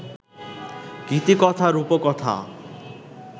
গীতিকথা-রূপকথা